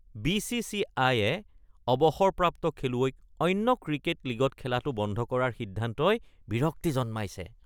বি.চি.চি.আইয়ে অৱসৰপ্ৰাপ্ত খেলুৱৈক অন্য ক্ৰিকেট লীগত খেলাটো বন্ধ কৰাৰ সিদ্ধান্তই বিৰক্তি জন্মাইছে।